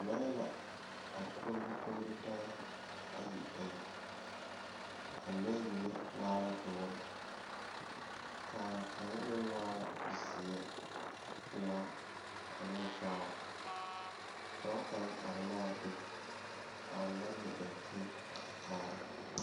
Lɔɛ la a kyogilikyogili taa ayi ayi a lɔɛ mine waa la doɔre kaa kaŋa meŋ waa zeɛ pelaa ane vaare dɔɔ kaŋ are laa be a lanne dankyini a kaara.